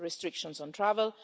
restrictions on travel.